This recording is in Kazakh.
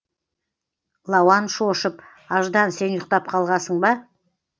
лауан шошып аждан сен ұйықтап қалғасың ба